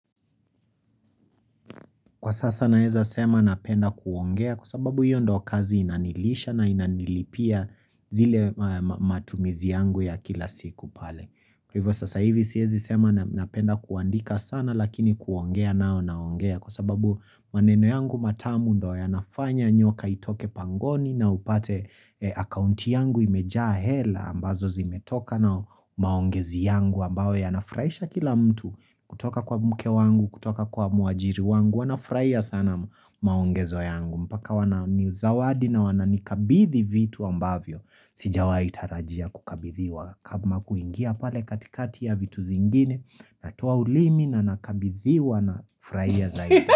Kwa sasa naeza sema napenda kuongea kwa sababu hiyo ndo kazi inanilisha na inanilipia zile matumizi yangu ya kila siku pale. Kwa hivyo sasa hivi siezi sema napenda kuandika sana lakini kuongea nao naongea kwa sababu maneno yangu matamu ndo ya nafanya nyoka itoke pangoni na upate akaunti yangu imejaa hela ambazo zimetoka na maongezi yangu ambao ya nafurahisha kila mtu kutoka kwa mke wangu kutoka kwa muajiri wangu. Wanafurahia sana maongezo yangu mpaka wana ni zawadi na wana ni kabidhi vitu ambavyo Sijawa itarajia kukabidhiwa kama kuingia pale katikati ya vitu zingine Natoa ulimi na nakabidhiwa na ufuraiha zaidi.